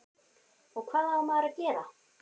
og hvað á maður að gera?